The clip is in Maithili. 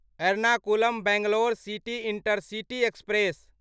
Ernakulam Bangalore city intercity express